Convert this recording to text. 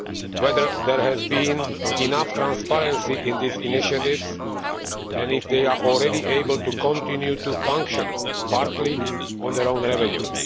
whether there has been enough transparency in these initiatives and whether they are already able to continue to function partly on their own revenue.